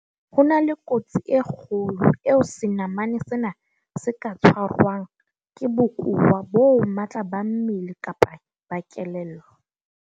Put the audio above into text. Ho na le kotsi e kgolo eo senamane sena se ka tshwarwang ke bokowa bo matla ba mmele kapa ba kelello.